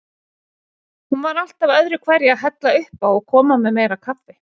Hún var alltaf öðruhverju að hella uppá og koma með meira kaffi.